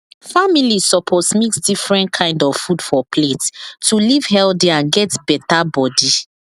families suppose mix different kind of food for plate to live healthy and get better body